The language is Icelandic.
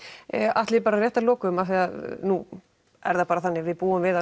Atli bara rétt að lokum af því að nú er það þannig að við búum við